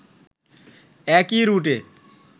একই রুটে